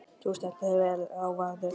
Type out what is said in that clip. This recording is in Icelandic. Þú stendur þig vel, Ráðvarður!